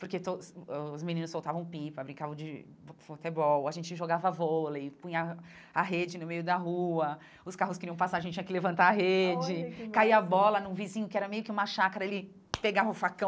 Porque todos ãh os meninos soltavam pipa, brincavam de futebol, a gente jogava vôlei, punha a rede no meio da rua, os carros queriam passar, a gente tinha que levantar a rede, olha que massa caía bola num vizinho que era meio que uma chácara, ele pegava o facão,